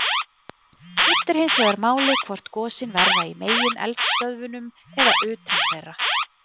Það skiptir hins vegar máli hvort gosin verða í megineldstöðvunum eða utan þeirra.